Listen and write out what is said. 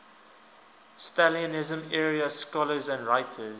stalinism era scholars and writers